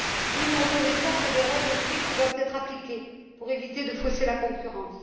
Oui, nous reconnaissons que des règles strictes doivent être appliquées pour éviter de fausser la concurrence.